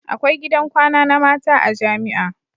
Akwai gidan kwana na mata a jamia